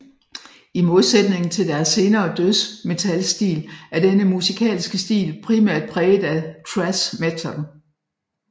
I mdosætningen til deres senere dødsmetalstil er denne musikalske stil primært præget af thrash metal